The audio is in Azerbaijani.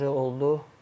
Bu oje oldu.